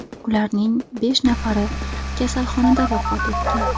Ularning besh nafari kasalxonada vafot etgan.